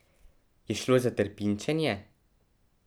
Je šlo za trpinčenje?